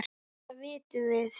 Þetta vitum við.